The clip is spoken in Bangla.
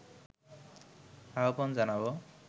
আহ্বান জানাবো